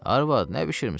Arvad, nə bişirmisən?